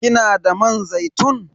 Kina da man zaitun?